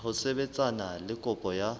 ho sebetsana le kopo ya